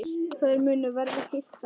Þær munu verða hissa.